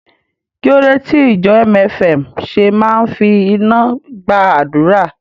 Kí ló dé tí ìjọ MFM ṣe máa ń fi iná gba àdúrà?